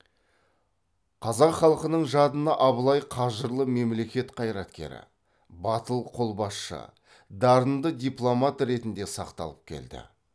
қазақ халқының жадына абылай қажырлы мемлекет қайраткері батыл қолбасшы дарынды дипломат ретінде сақталып келді